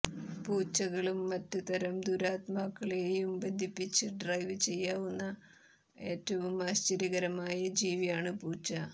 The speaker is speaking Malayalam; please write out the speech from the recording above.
പൂച്ചകളും മറ്റ് തരം ദുരാത്മാക്കളെയും ബന്ധിപ്പിച്ച് ഡ്രൈവ് ചെയ്യാവുന്ന ഏറ്റവും ആശ്ചര്യകരമായ ജീവിയാണ് പൂച്ച